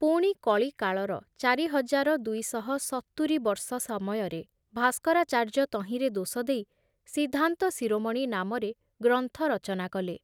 ପୁଣି କଳିକାଳର ଚାରି ହଜାର ଦୁଇ ଶହ ସତୁରି ବର୍ଷ ସମୟରେ ଭାସ୍କରାଚାର୍ଯ୍ୟ ତହିଁରେ ଦୋଷ ଦେଇ ସିଦ୍ଧାନ୍ତ ଶିରୋମଣି ନାମରେ ଗ୍ରନ୍ଥ ରଚନା କଲେ ।